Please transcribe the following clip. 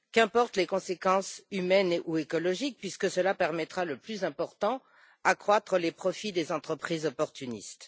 Qu'importent les conséquences humaines ou écologiques, puisque cela permettra le plus important accroître les profits des entreprises opportunistes.